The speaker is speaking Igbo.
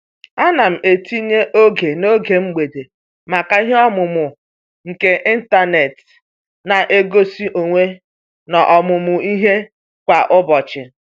Ana m etinye oge n'oge mgbede maka ihe ọmụmụ nke ịntanet na ngosi onwe n'ọmụmụ ihe kwa ụbọchị.